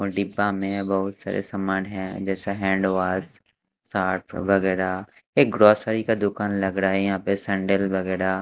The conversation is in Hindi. में बहुत सारे सामान हैं जैसे हैंडवाश सर्फ़ वगैरा एक ग्रोसर्री का दुकान लग रहा है यहाँ पे सैंडल वगैरा --